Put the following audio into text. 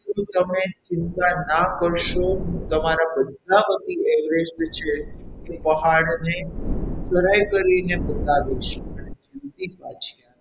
ઓ તમે ચિંતા ના કરશો હું તમે તમારા બધા વતી Everest છે એ હું પહાડને ચઢાઈ કરીને બતાવીશ અને જીવતી પાછી આવીશ.